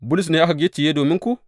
Bulus ne aka gicciye dominku?